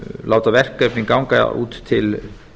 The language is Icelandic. láta verkefni ganga út til